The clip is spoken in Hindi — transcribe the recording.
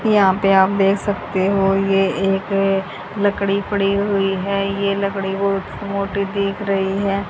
यहां पे आप देख सकते हो ये एक लकड़ी पड़ी हुई है ये लकड़ी बहुत मोटी दिख रही है।